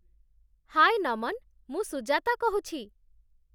ହାଏ, ନମନ! ମୁଁ ସୁଜାତା କହୁଛି ।